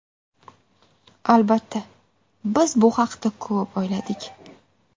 Albatta, biz bu haqda ko‘p o‘yladik.